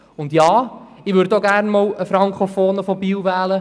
Und ja, ich würde auch gerne einmal einen Frankofonen aus Biel wählen.